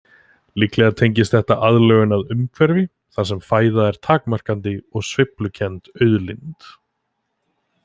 Líklega tengist þetta aðlögun að umhverfi þar sem fæða er takmarkandi og sveiflukennd auðlind.